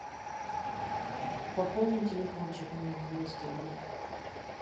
пополни телефончик мне на двести рублей